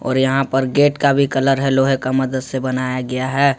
और यहां पर गेट का भी कलर है लोहे का मदद से बनाया गया है।